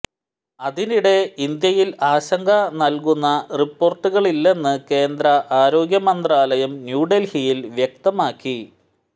അതിനിടെ ഇന്ത്യയിൽ ആശങ്ക നൽകുന്ന റിപ്പോർട്ടുകളില്ലെന്ന് കേന്ദ്ര ആരോഗ്യമന്ത്രാലയം ന്യൂഡൽഹിയിൽ വ്യക്തമാക്കി